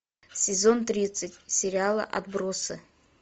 сезон тридцать сериала отбросы